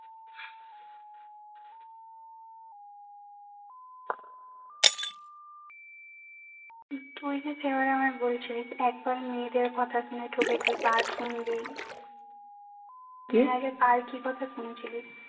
তুই যে সেদিন আমায় বলেছিলিস একবার মেয়েদের কথা শুনে ঠকেছিস আর শুনবি তুই আগে কার কি কথা শুনেছিলিস